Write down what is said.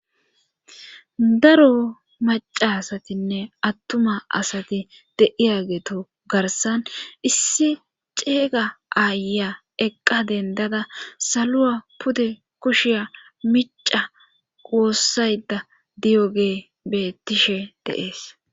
daro macasatinne attuma asati deiyageeto garsan issi ceega aaya eqqa dendada salua pude kushiya mica woossayda diyo gee beettishe de'ees